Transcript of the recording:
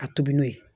A tobi n'o ye